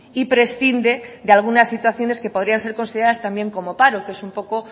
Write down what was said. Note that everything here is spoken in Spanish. y prescinde de algunas situaciones que podrían ser consideradas también como paro que es un poco